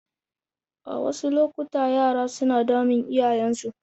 A wasu lokuta yara suna damun iyayensu.